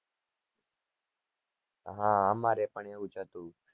હા અમારે પણ એવું જ હતું